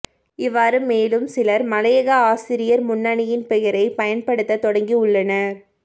இவ்வாறு மேலும் சிலரும் மலையக ஆசிரியர் முன்னணியின் பெயரை பயன்படுத்த தொடங்கியுள்ளனர்